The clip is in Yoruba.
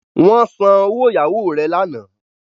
Wón sàn òwò ìyàwó re lànà.